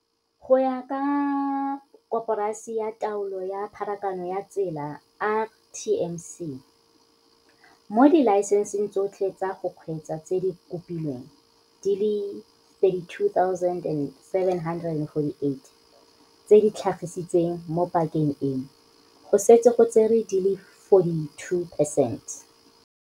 Go ya ka Koporasi ya Taolo ya Pharakano ya Tsela, RTMC, mo dilae senseng tsotlhe tsa go kgweetsa tse di kopilweng di le 32 748 tse di tlhagisitsweng mo pakeng eno, go setse go tserwe di le 42 percent.